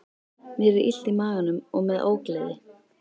Mér er illt í maganum og með ógleði.